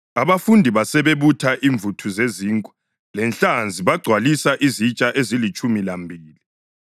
abafundi basebebutha imvuthu zezinkwa lenhlanzi bagcwalisa izitsha ezilitshumi lambili.